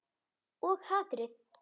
Og hatrið.